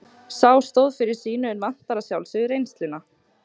Sá stóð fyrir sínu en vantar að sjálfsögðu reynsluna.